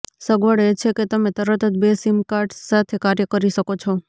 સગવડ એ છે કે તમે તરત જ બે સિમ કાર્ડ્સ સાથે કાર્ય કરી શકો છો